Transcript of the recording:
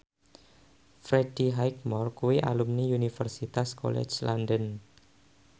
Freddie Highmore kuwi alumni Universitas College London